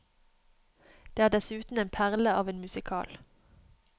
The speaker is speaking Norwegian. Det er dessuten en perle av en musical.